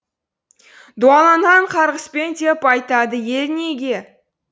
дуаланған қарғыспен деп айтады ел неге